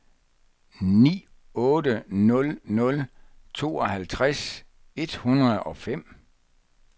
ni otte nul nul tooghalvtreds et hundrede og fem